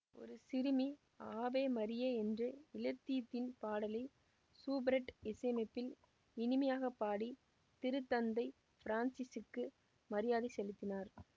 ஒரு சிறுமி Ave Maria என்ற இலத்தீன் பாடலை சூபெர்ட் இசையமைப்பில் இனிமையாக பாடி திருத்தந்தை பிரான்சிசுக்கு மரியாதை செலுத்தினார்